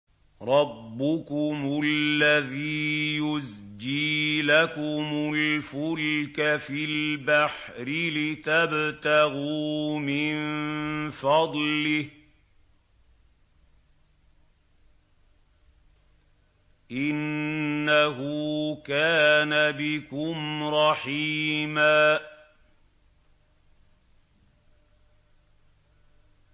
رَّبُّكُمُ الَّذِي يُزْجِي لَكُمُ الْفُلْكَ فِي الْبَحْرِ لِتَبْتَغُوا مِن فَضْلِهِ ۚ إِنَّهُ كَانَ بِكُمْ رَحِيمًا